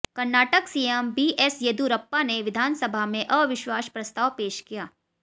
Karnataka CM BS Yediyurappa ने विधानसभा में अविश्वास प्रस्ताव पेश किया